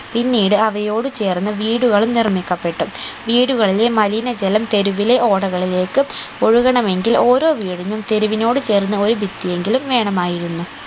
പിന്നീട് അവയോട് ചേർന്ന് വീടുകളും നിർമ്മിക്കപ്പെട്ടു വീടുകളിലെ മലിന ജലം തെരുവിലെ ഓടകളിലേക്ക് ഒഴുകണമെങ്കിൽ ഓരോ വീടിനും തെരുവിനോട് ചേർന്ന് ഒരു ഭിത്തി എങ്കിലും വേണമായിരുന്നു